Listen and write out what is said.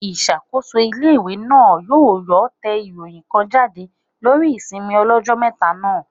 Ìṣàkóso ilé-ìwé náà yóò yóò tẹ ìròyìn kan jáde lórí ìsinmi ọlọ́jọ́ mẹ́ta náà